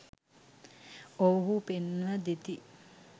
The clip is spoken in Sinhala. ඔව්හු පෙන්ව දෙති.